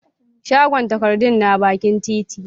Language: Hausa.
shagon takardun na bakin titi